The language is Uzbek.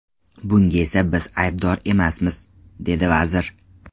Bunga esa biz aybdor emasmiz, dedi vazir.